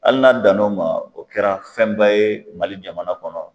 Ali n'a dan n'o ma o kɛra fɛnba ye mali jamana kɔnɔ